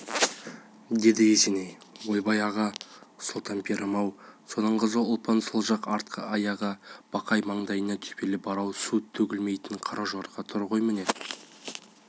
деді есеней ойбай аға сұлтан пірім-ау соның қызы ұлпан сол жақ артқы аяғы ақ бақай маңдайында төбелі бар су төгілмейтін қара жорға тұр ғой міне